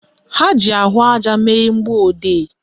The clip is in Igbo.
Ha ji ahụaja mee mgbọodee ojii